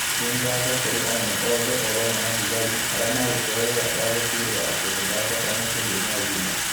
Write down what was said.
Nĩ ngatho kũrĩ anene othe, o vamwe na thigari, arĩa maarutire wĩra wa gũtigĩrĩra atĩ nĩ ndacoka mũciĩ ndĩ na ũgima".